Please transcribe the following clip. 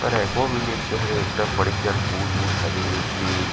औ एको विलेज के हवे एकदम बड़े जान पूल उल हवे हे ते--